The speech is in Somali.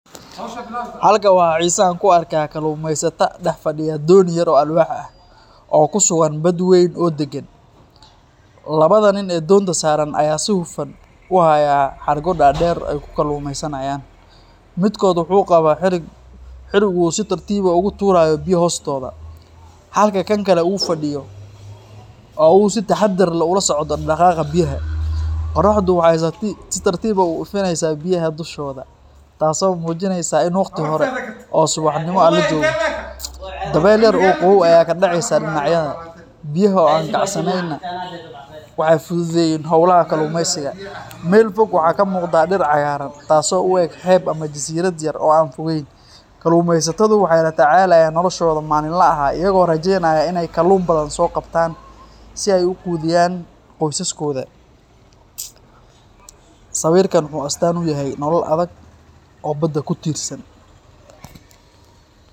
Halka waxaa xiso an kuarkaa kalluumeysataa dhex fadhiya dooni yar oo alwaax ah, oo ku sugan bad wayn oo deggan. Labada nin ee doonta saaran ayaa si hufan u haya xadhko dhaadheer oo ay ku kalluumeysanayaan. Midkood wuxuu qabo xadhig uu si tartiib ah ugu tuurayo biyo hoostooda, halka kan kale uu fadhiyo oo uu si taxaddar leh ula socdo dhaqdhaqaaqa biyaha. Qorraxdu waxay si tartiib ah u ifineysaa biyaha dushooda, taasoo muujinaysa in waqti hore oo subaxnimo ah la joogo. Dabayl yar oo qabow ayaa ka dhacaysa dhinacyada, biyaha oo aan kacsaneynna waxay fududeeyeen howlaha kalluumeysiga. Meel fog waxaa ka muuqda dhir cagaaran, taasoo u eg xeeb ama jasiirad yar oo aan fogeyn. Kalluumeysatadu waxay la tacaalayaan noloshooda maalinlaha ah iyagoo rajeynaya in ay kalluun badan soo qabtaan si ay u quudiyaan qoysaskooda. Sawirkan wuxuu astaan u yahay nolol adag oo badda ku tiirsan.